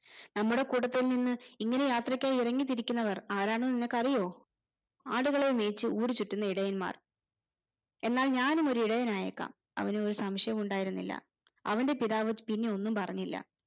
നമ്മടെ കൂട്ടത്തിൽ നിന്ന് ഇങ്ങനെ യാത്രക്കായി ഇറങ്ങിത്തിരിക്കുന്നവർ ആരാണെന്ന് നിനക്കാറിയോ ആടുകളെ മേച്ച് ഊരുചുറ്റുന്ന ഇടയന്മാർ എന്നാൽ ഞാനുമൊരു ഇടയനായേക്കാം അവന് ഒരു സംശയവും ഉണ്ടായിരുന്നില്ല അവന്റെ പിതാവ് പിന്നെ ഒന്നും പറഞ്ഞില്ല